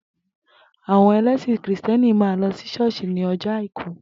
Àwo̩n e̩lé̩sìn krìstìé̩nì máa ń lo̩ sí s̩ó̩ò̩s̩ì ní o̩jó̩ Àìkú